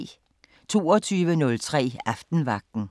22:03: Aftenvagten